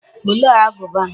Olee agụba m?